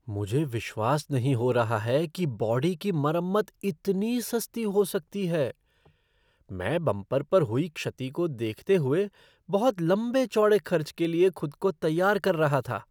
मुझे विश्वास नहीं हो रहा है कि बॉडी की मरम्मत इतनी सस्ती हो सकती है! मैं बंपर पर हुई क्षति को देखते हुए बहुत लंबे चौड़े खर्च के लिए खुद को तैयार कर रहा था।